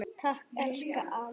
Takk, elsku amma.